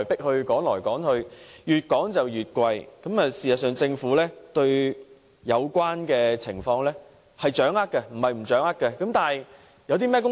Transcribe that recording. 對於租金越來越貴的問題，政府是掌握有關情況的，但就此做了甚麼工夫？